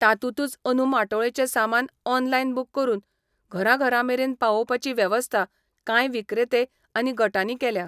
तातूंतूच अंदू माटोळेचें सामान ऑनलायन बूक करून घरां घरांमेरेन पावोवपाची वेवस्था कांय विक्रेते आनी गटांनी केल्या.